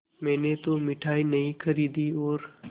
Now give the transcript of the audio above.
मैंने तो मिठाई नहीं खरीदी और